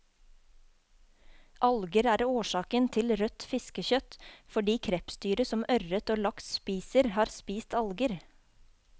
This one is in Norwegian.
Alger er årsaken til rødt fiskekjøtt, fordi krepsdyret som ørret og laks spiser, har spist alger.